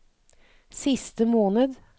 siste måned